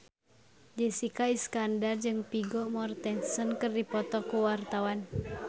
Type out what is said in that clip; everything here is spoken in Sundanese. Jessica Iskandar jeung Vigo Mortensen keur dipoto ku wartawan